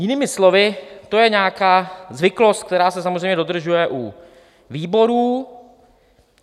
Jinými slovy, to je nějaká zvyklost, která se samozřejmě dodržuje u výborů.